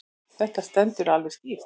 Þetta stendur alveg skýrt.